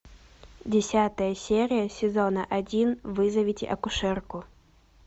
десятая серия сезона один вызовите акушерку